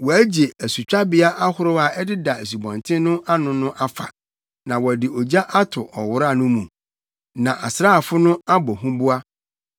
wɔagye asutwabea ahorow a ɛdeda asubɔnten no ano no afa, na wɔde ogya ato ɔwora no mu, na asraafo no abɔ huboa.”